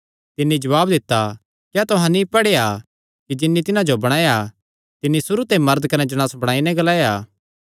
तिन्नी जवाब दित्ता क्या तुहां नीं पढ़ेया कि जिन्नी तिन्हां जो बणाया तिन्नी सुरू ते मरद कने जणांस बणाई नैं ग्लाया